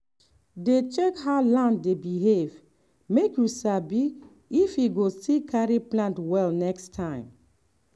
dey check how land dey behave make you sabi if e go still carry plant well next time.